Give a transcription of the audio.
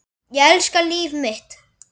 Ég elska líf mitt.